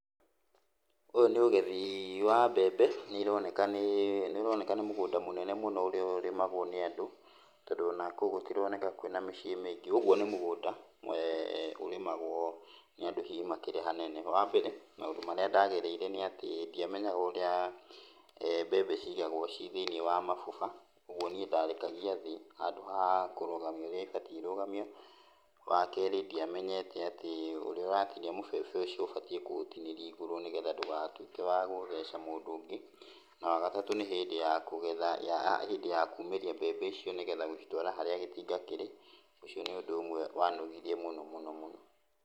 Ũyũ nĩ ũgethi wa mbembe, nĩironeka nĩĩ, nĩironeka nĩ mũgũnda mũnene mũno ũrĩa ũrĩmagwo nĩ andũ, tondũ ona kũu gũtironeka kwĩna mĩciĩ mĩingĩ, ũguo nĩ mũngũnda ũrĩmagwo nĩ andũ hihi makĩrĩ hanene. Wambere maũndũ marĩa ndagereire nĩatĩ ndiamenyaga ũrĩa mbembe cigagwo ciĩ thĩiniĩ wa mabuba. ũguo niĩ ndarekagia thĩ, handũ ha kũrũgamia ũrĩa ibatiĩ irũgamio. Wakerĩ ndiamenyete atĩ ũrĩa ũratinia mũbebe ũcio, ũbatiĩ kũũtinĩria igũrũ nĩgetha ndũgatuĩke wa gũtheca mũndũ ũngĩ. Wa wagatatũ nĩ hĩndĩ ya kũgetha, hĩndĩ ya kumĩria mbembe icio nĩgetha gũcitwara harĩa gĩtinga kĩr, ũcio nĩ ũndũ ũmwe wanogirie mũno mũno.